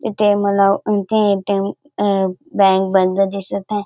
इथे मला उनटी ए.टी.एम. अ बँक बंद दिसत आहे.